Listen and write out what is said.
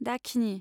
दाखिनि